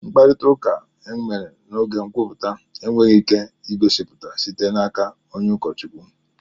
Mkparịta ụka emere n'oge nkwupụta enweghị ike igosipụta site n'aka ụkọchukwu